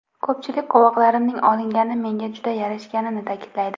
Ko‘pchilik qovoqlarimning olingani menga juda yarashganini ta’kidlaydi.